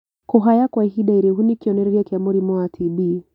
Kũhaya kwa ihinda iraihu nĩ kĩonererĩa kĩa mũrimũ wa TB